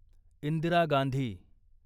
Indira Gandhi